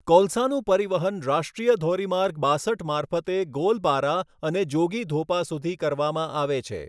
કોલસાનું પરિવહન રાષ્ટ્રીય ધોરીમાર્ગ બાસઠ મારફતે ગોલપારા અને જોગીઘોપા સુધી કરવામાં આવે છે.